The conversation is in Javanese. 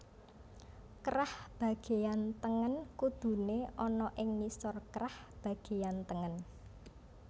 Krah bagéyan tengen kuduné ana ing ngisor krah bagéyan tengen